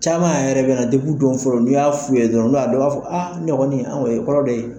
Caman yɛrɛ be na depi u dɔn fɔlɔ n'i y'a f'u ye dɔrɔn n'u y'a dɔn u b'a fɔ a ne kɔni an ko o ye kɔrɔ dɔ ye